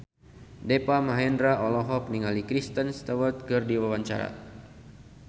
Deva Mahendra olohok ningali Kristen Stewart keur diwawancara